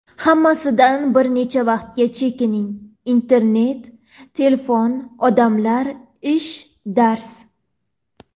Hammasidan bir necha vaqtga chekining, internet, telefon, odamlar, ish, dars.